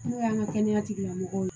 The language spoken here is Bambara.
N'o y'an ka kɛnɛya tigilamɔgɔw ye